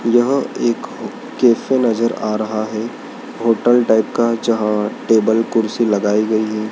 यह एक कैफे नजर आ रहा है होटल टाइप का जहां टेबल कुर्सी लगाई गई है।